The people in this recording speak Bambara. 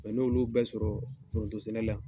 n'olu bɛ sɔrɔ foronto sɛnɛ la.